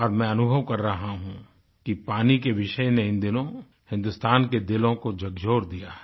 और मैं अनुभव कर रहा हूँ कि पानी के विषय में इन दिनों हिन्दुस्तान के दिलों को झकझोर दिया है